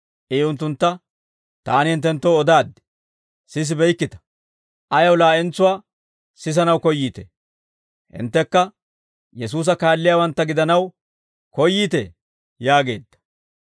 I unttuntta, «Taani hinttenttoo odaaddi; sisibeykkita. Ayaw laa'entsuwaa sisanaw koyyiitee? Hinttekka Yesuusa kaalliyaawantta gidanaw koyyiitee?» yaageedda.